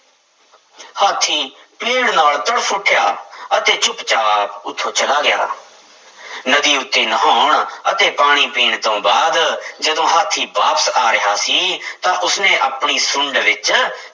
ਹਾਥੀ ਪੀੜ੍ਹ ਨਾਲ ਤੜਫ਼ ਉੱਠਿਆ ਅਤੇ ਚੁੱਪ ਚਾਪ ਉੱਥੋਂ ਚਲਾ ਗਿਆ ਨਦੀ ਉੱਤੇ ਨਹਾਉਣ ਅਤੇ ਪਾਣੀ ਪੀਣ ਤੋਂ ਬਾਅਦ ਜਦੋਂ ਹਾਥੀ ਵਾਪਸ ਆ ਰਿਹਾ ਸੀ ਤਾਂ ਉਸਨੇ ਆਪਣੀ ਸੁੰਡ ਵਿੱਚ